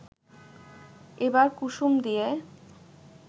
এবার কুসুম দিয়ে